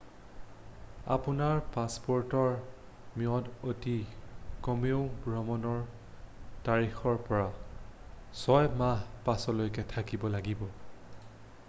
আপোনাৰ পাছপ'ৰ্টৰ ম্যাদ অতি কমেও ভ্ৰমণৰ তাৰিখৰ পৰা 6 মাহৰ পাছলৈকে থাকিব লাগিব